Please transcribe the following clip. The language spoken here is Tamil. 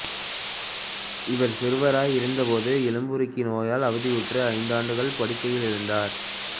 இவர் சிறுவராய் இருந்தபோது எலும்புருக்கி நோயினால் அவதியுற்று ஐந்து ஆண்டுகள் படுக்கையில் இருந்தார்